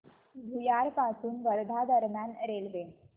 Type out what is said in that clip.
भुयार पासून वर्धा दरम्यान रेल्वे